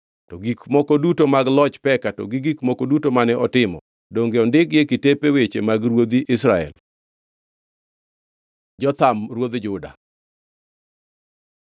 To gik mamoko duto mag loch Peka, gi gik moko duto mane otimo, donge ondikgi e kitepe mag weche ruodhi Israel? Jotham ruodh Juda